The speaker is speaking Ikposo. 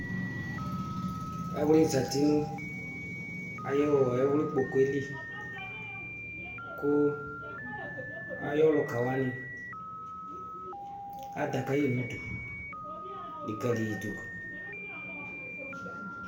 Ɛwli zati nu ayu ɛwlikpoku yɛli ku ayu aluka wani aza kayi nidu likalidu